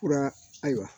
Fura ayiwa